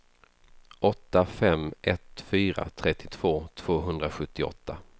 åtta fem ett fyra trettiotvå tvåhundrasjuttioåtta